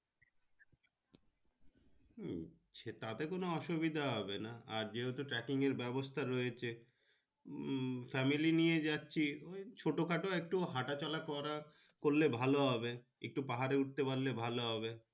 হম সেটা তে কোনো অসুবিধা হবে না যে হেতু thatting ব্যাবস্তা রয়েছে হম family নিয়ে যাচ্ছি ছোট খাটো একটু হাত চলা করা করলে একটু ভালো হবে। একটু পাহাড় এ উঠতে পারলে ভালো হবে।